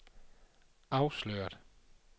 afsløret